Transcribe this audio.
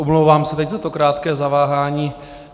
Omlouvám se teď za to krátké zaváhání.